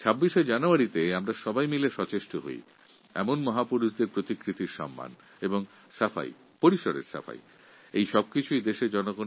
এই ২৬শে জানুয়ারি আসুন আমরা সকলে মিলে মহাপুরুষদের সম্মানে নির্মিত এই সকল প্রতিকৃতিগুলির পরিষ্কারপরিচ্ছন্নতার ব্যাপারে সচেষ্ট হই